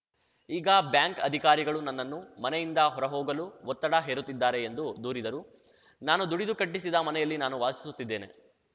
ಈಗ ಬ್ಯಾಂಕ್‌ ಅಧಿಕಾರಿಗಳು ನನ್ನ ನ್ನು ಮನೆಯಿಂದ ಹೊರ ಹೋಗಲು ಒತ್ತಡ ಹೇರುತ್ತಿದ್ದಾರೆ ಎಂದು ದೂರಿದರು ನಾನು ದುಡಿದು ಕಟ್ಟಿಸಿದ ಮನೆಯಲ್ಲಿ ನಾನು ವಾಸಿಸುತ್ತಿದ್ದೇನೆ